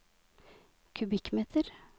kubikkmeter